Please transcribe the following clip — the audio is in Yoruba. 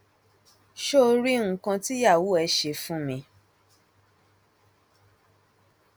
ṣó o rí nǹkan tìyàwó ẹ ṣe fún mi